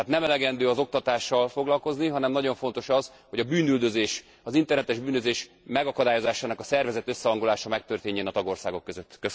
Tehát nem elegendő az oktatással foglalkozni, hanem nagyon fontos az, hogy a bűnüldözés, az internetes bűnözés megakadályozásának a szervezett összehangolása megtörténjen a tagországok között.